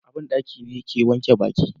a banɗaki ni ke wanke baki